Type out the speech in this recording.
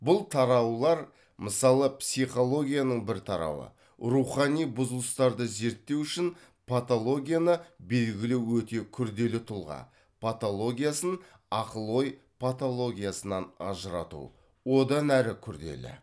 бұл тараулар мысалы психологияның бір тарауы рухани бұзылыстарды зерттеу үшін патологияны белгілеу өте күрделі тұлға патологиясын ақыл ой паталогиясынан ажырату одан әрі күрделі